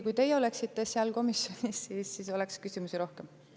Kui teie oleksite seal komisjonis olnud, oleks ilmselt küsimusi ka rohkem olnud.